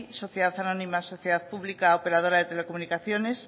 sociedad anónima sociedad pública operadora de telecomunicaciones